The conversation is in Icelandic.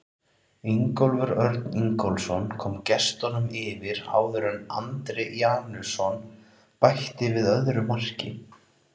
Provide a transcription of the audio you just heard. Ingólfur Örn Ingólfsson kom gestunum yfir áður en Andri Janusson bætti við öðru marki.